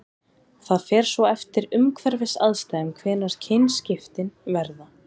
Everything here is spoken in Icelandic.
það fer svo eftir umhverfisaðstæðum hvenær kynskiptin verða